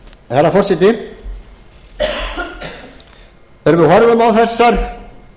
herra forseti þegar við horfum á þessar